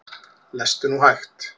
Lestu nú hægt!